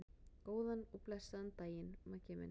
Góðan og blessaðan daginn, Maggi minn.